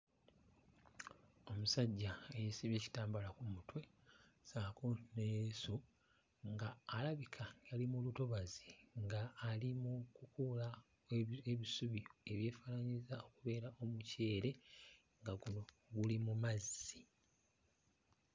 Omusajjja eyeesibye ekitambala ku mutwe ssaako ne leesu ng'alabika ali mu lutobazi nga ali mu kukuuula ebi ebisubi ebyefaananyiriza okubeera omuceere nga guno guli mu mazzi.